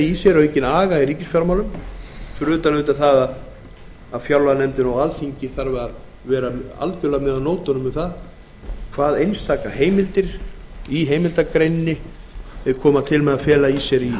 í sér aukinn aga í ríkisfjármálum fyrir utan að fjárlaganefnd og alþingi þurfa að vera algjörlega með á nótunum um hvað einstaka heimildir í heimildargreininni koma til með að fela í sér í